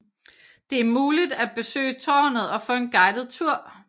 Det er muligt at besøge tårnet og få en guidet tur